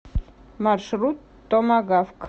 маршрут томагавк